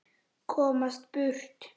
Komast burt.